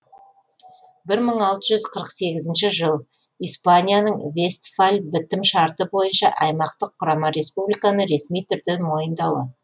бір мың алты жүз қырық сегізінші жыл испанияның вестфаль бітім шарты бойынша аймақтық құрама республиканы ресми түрде мойындауы